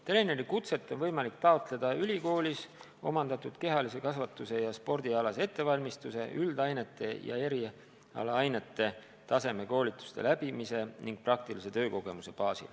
Treenerikutset on võimalik taotleda ülikoolis, olles omandanud kehalise kasvatuse ja spordialase ettevalmistuse ning läbinud üldained ja erialaainete tasemekoolituse ning teinud ka praktilist tööd.